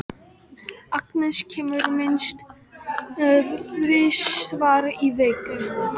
Agnes kemur minnst þrisvar í viku.